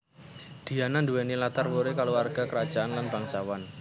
Diana nduwèni latar wuri kulawarga krajaan lan bangsawan